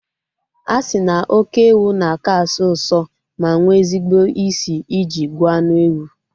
A sị na oké ewu na-aka asọ usọ ma nwee ezigbo isi I ji gwọọ anụ ewu